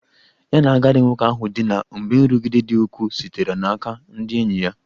Ya na agadi nwoke ahụ dina mgbe nrụgide dị ukwuu sitere n'aka ndị enyi ya